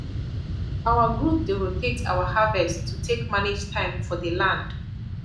our group dey rotate our harvest to take manage time for the land